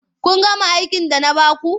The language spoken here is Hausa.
Kun gama aikin da na ba ku.